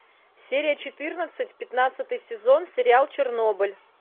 серия четырнадцать пятнадцатый сезон сериал чернобыль